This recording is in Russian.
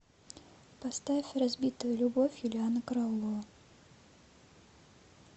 поставь разбитая любовь юлианна караулова